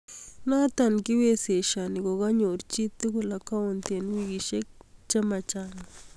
Noto kiiwezeshanani ko ka ko n yoor chii tugul account eng wikisiek che ma chaang